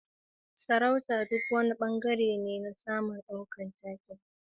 Nuna sha'awa, juyawa, rantsuwa, da nadin sarauta duk wani bangare ne na tsarin daukar taken.